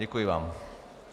Děkuji vám.